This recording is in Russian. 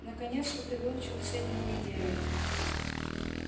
наконец-то ты выучил все дни недели